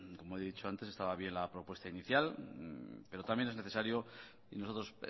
como he dicho antes estaba bien la propuesta inicial pero también es necesario y nosotros